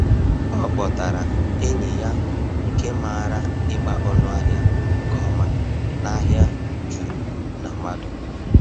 O kpọtara enyi ya nke maara ịgba ọnụahịa nke ọma n’ahịa juru na mmadụ.